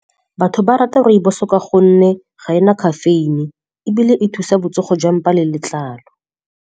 Batho ba rata rooibos ka gonne ga ena caffeine, ebile e thusa botsogo jwa mpa le letlalo.